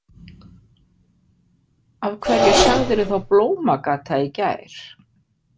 Af hverju sagðirðu þá Blómagata í gær?